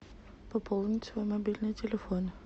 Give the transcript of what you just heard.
пополнить свой мобильный телефон